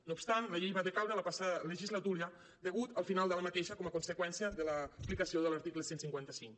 no obstant la llei va decaure la passada legislatura degut al final d’aquesta com a conseqüència de l’aplicació de l’article cent i cinquanta cinc